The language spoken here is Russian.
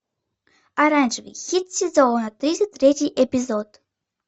оранжевый хит сезона тридцать третий эпизод